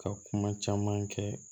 Ka kuma caman kɛ